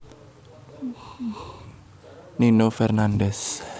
Nino Fernandez